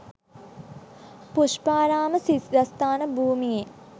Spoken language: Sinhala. පුෂ්පාරාම සිද්ධස්ථාන භූමියේ